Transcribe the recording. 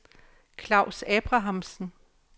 Claus Abrahamsen